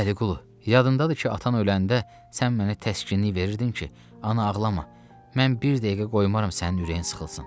Vəliqulu, yadındadır ki, atan öləndə sən mənə təskini deyirdin ki, ana ağlama, mən bir dəqiqə qoymaram sənin ürəyin sıxılsın.